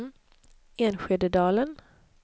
Enskededalen